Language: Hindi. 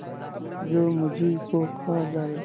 जो मुझी को खा जायगा